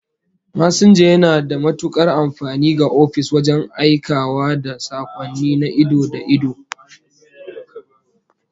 Masinja yana da matukar amfani ga ofis wajen aikawa da sakonni na ido da ido